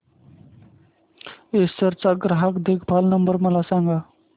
Acer चा ग्राहक देखभाल नंबर मला सांगा